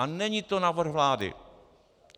A není to návrh vlády.